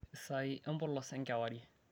esaai empolos enkewarie